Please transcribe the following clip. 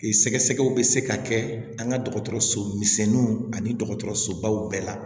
Sɛgɛsɛgɛw bɛ se ka kɛ an ka dɔgɔtɔrɔso misɛnninw ani dɔgɔtɔrɔsobaw bɛɛ la